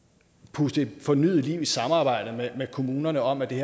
puste fornyet liv i samarbejdet med kommunerne om at vi